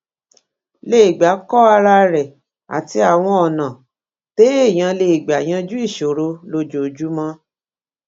lè gbà kó ara rè àti àwọn ònà téèyàn lè gbà yanjú ìṣòro lójoojúmó